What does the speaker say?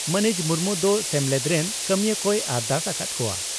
ᱢᱟᱹᱱᱤᱡ ᱢᱩᱨᱢᱩ ᱫᱚ ᱥᱮᱢᱮᱞᱮᱫ ᱨᱮᱱ ᱠᱟᱹᱢᱤᱭᱟᱹ ᱠᱚᱭ ᱟᱨᱫᱟᱥ ᱟᱠᱟᱫ ᱟᱠᱟᱫ ᱠᱚᱣᱟ ᱾